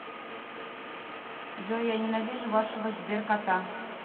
джой я ненавижу вашего сберкота